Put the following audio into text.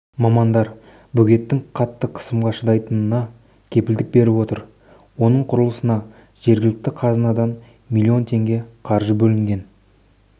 мамандар бөгеттің қатты қысымға шыдайтынына кепілдік беріп отыр оның құрылысына жергілікті қазынадан миллион теңге қаржы бөлінген